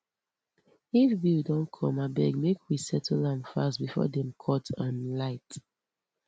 if bill don come abeg make we settle am fast before dem cut um light